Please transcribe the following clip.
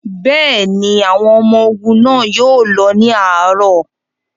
Bẹ́ẹ̀ ni, àwọn ọmọ ogun náà yóò lọ ní àárọ̀.